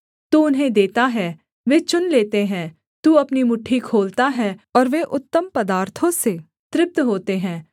तू उन्हें देता है वे चुन लेते हैं तू अपनी मुट्ठी खोलता है और वे उत्तम पदार्थों से तृप्त होते हैं